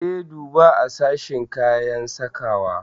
E, duba a sashen kayan sakawa.